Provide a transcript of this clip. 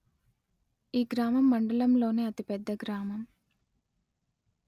ఈ గ్రామం మండలంలోనే అతి పెద్ద గ్రామం